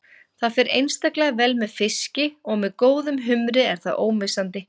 Það fer einstaklega vel með fiski og með góðum humri er það ómissandi.